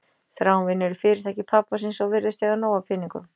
Þráinn vinnur í fyrirtæki pabba síns og virðist eiga nóg af peningum.